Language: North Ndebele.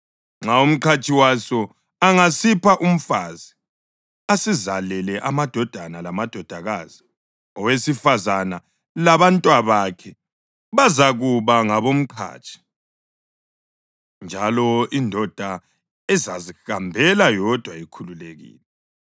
Nxa umqhatshi waso angasipha umfazi asizalele amadodana lamadodakazi, owesifazane labantwabakhe bazakuba ngabomqhatshi, njalo indoda izazihambela yodwa ikhululekile.